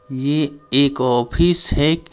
ये एक ऑफिस है।